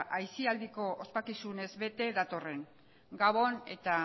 aisialdiko ospakizunez bete datorren gabon eta